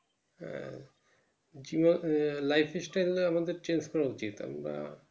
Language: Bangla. হ্যাঁ যে আহ life style নিয়ে আমাদের করা উচিত আমরা